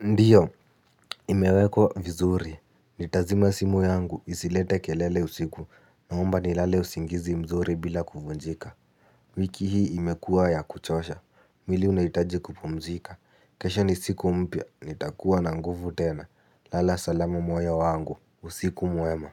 Ndiyo imewekwa vizuri. Nitazima simu yangu isilete kelele usiku. Naomba nilale usingizi mzuri bila kuvunjika. Wiki hii imekua ya kuchosha. Mwili unahitaji kupumzika. Kesho ni siku mpya, nitakuwa na nguvu tena. Lala salama moyo wangu, usiku mwema.